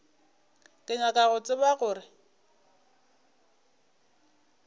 ke nyaka go tseba gore